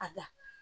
A